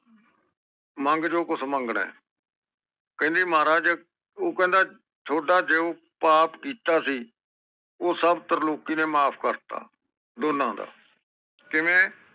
ਮੰਗ ਜੋ ਕੁਜ ਮੰਗ ਨਾ ਆ ਕਹਿੰਦੇ ਮਹਾਰਾਜ ਟੌਹੜਾ ਜੋ ਪੋਆਪ ਕੀਤਾ ਸੀ ਓਹ ਸਬ ਤ੍ਰਲੋਕੀ ਨੇ ਮਾਫ਼ ਕਰਤਾ ਦੋਨੋ ਦਾ ਕਿਵੇਂ